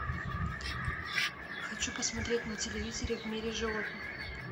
хочу посмотреть на телевизоре в мире животных